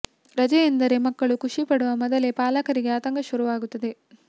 ರಜೆ ಎಂದರೆ ಮಕ್ಕಳು ಖುಷಿ ಪಡುವ ಮೊದಲೇ ಪಾಲಕರಿಗೆ ಆತಂಕ ಶುರುವಾಗುತ್ತದೆ